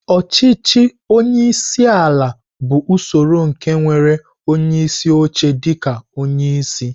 Ọchịchị onye isi ala bụ usoro nke nwere onyeisi oche dịka onye isi.